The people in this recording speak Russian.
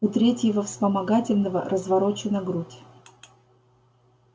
у третьего вспомогательного разворочена грудь